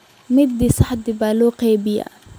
mid saddex baa loo qaybiyaa